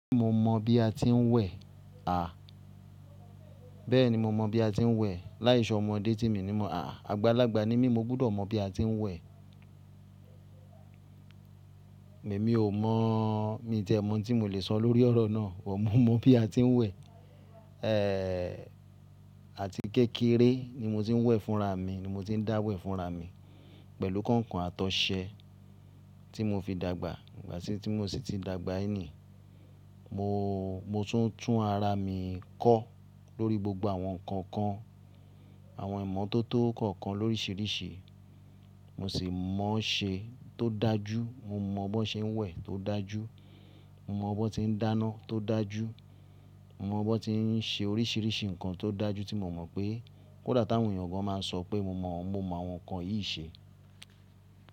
Bẹ́ẹ̀ni mo mọ bí a ti ń wẹ̀. Láìṣò ọmọdé tí mi ni mo à á, àgbàlagbà ni mi mo gbúdọ̀ mọ bí a ti ń wẹ̀. Èmi ò mọ̀, mi tí ẹ́ mọ́ tí mò lè sọ lórí ọ̀rọ̀ náà. Wò mọ̀ mó bí a ti ń wẹ̀. Èéè, àti kékeré ni mo ti ń wẹ̀ fúnra mi, ni mo ti ń dá wẹ̀ fúnra mi pẹ̀lú kọ̀nkọ̀n àtọ̀sẹ tí mo fi dàgbà. Ìgbà tí mo sì ti dàgbà ẹni, mo, mo tún tún ara mi kọ́ lórí gbogbo àwọn nǹkan kan, àwọn ìmọ́tótó kọ̀ọ̀kan lóríṣiríṣi. Mo sì mọ̀ ọ́ ṣe tó dájú, mo mọ̀ ọ́ ṣe ń wẹ̀ tó dájú, mo mọ̀ ọ́ ṣe ń dáná tó dájú, mo mọ̀ ọ́ ti ń ṣe oríṣiríṣi nǹkan tó dájú tí mo mọ̀ pé kódà táwọn èèyàn gan máa ń sọ pé mo mọ̀, mo mọ̀ àwọn nǹkan yìí ṣe.